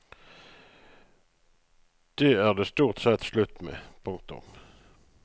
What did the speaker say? Det er det stort sett slutt med. punktum